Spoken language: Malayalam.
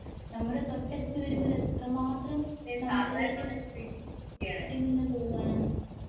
നമ്മുടെ തൊട്ടടുത്ത് വരുമ്പോൾ എത്രമാത്രം നമ്മളിലേക്ക് എത്തിയിരിക്കുന്നു എന്ന് തോന്നുവാണ് .